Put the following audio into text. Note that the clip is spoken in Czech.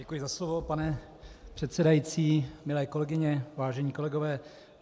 Děkuji za slovo, pane předsedající, milé kolegyně, vážení kolegové.